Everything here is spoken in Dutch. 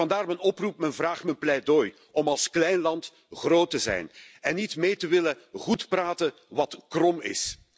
Vandaar mijn oproep, mijn vraag, mijn pleidooi om als klein land groot te zijn en niet mee te willen goed praten wat krom is.